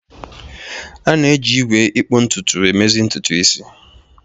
A na-eji igwe ikpu ntutu emezi ntutu isi.